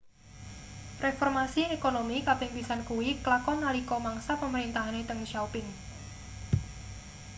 reformasi ekonomi kaping pisan kuwi klakon nalika mangsa pemerintahane deng xiaoping